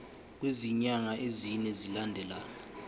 kwezinyanga ezine zilandelana